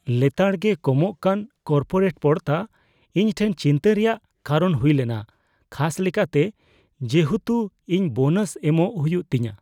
ᱞᱮᱛᱟᱲ ᱜᱮ ᱠᱚᱢᱚᱜᱠᱟᱱ ᱠᱚᱨᱯᱳᱨᱮᱴ ᱯᱚᱲᱛᱟ ᱤᱧ ᱴᱷᱮᱱ ᱪᱤᱱᱛᱟᱹ ᱨᱮᱭᱟᱜ ᱠᱟᱨᱚᱱ ᱦᱩᱭ ᱞᱮᱱᱟ ᱠᱷᱟᱥ ᱞᱮᱠᱟᱛᱮ ᱡᱮᱦᱮᱛᱩ ᱤᱧ ᱵᱳᱱᱟᱥ ᱮᱢᱚᱜ ᱦᱩᱭᱩᱜ ᱛᱤᱧᱟ ᱾